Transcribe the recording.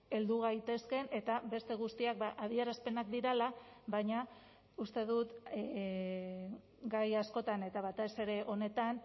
heldu gaitezkeen eta beste guztiak adierazpenak direla baina uste dut gai askotan eta batez ere honetan